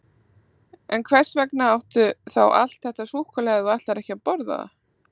En hvers vegna áttu þá allt þetta súkkulaði ef þú ætlar ekki að borða það?